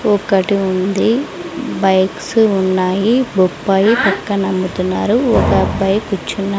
ఒకటి ఉంది బైక్స్ ఉన్నాయి బొప్పాయి పక్కన ఉంటున్నారు ఒక అబ్బాయి కూర్చున్న--